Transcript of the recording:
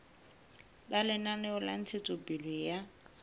ba lenaneo la ntshetsopele ya